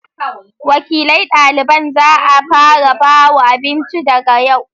Wakilan ɗaliban za'a fara bawa abinci daga yau